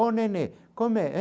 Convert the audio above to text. Oh, nenê, como é?